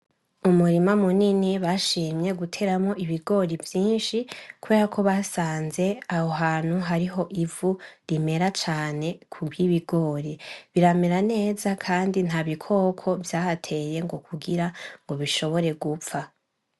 Umurima munini bashimye guteramwo ibigori vyinshi kuberako basanze aho hantu hariho ivu rimera cane kubwibigori, biramera neza kandi ntabikoko ngo vyahateye ngo kugira bishobore gupfa .